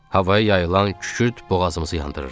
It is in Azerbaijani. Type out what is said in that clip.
Havaya yayılan kükürt boğazımızı yandırırdı.